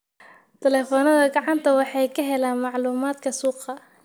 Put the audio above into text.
Taleefannada gacanta, waxay ka helaan macluumaadka suuqa.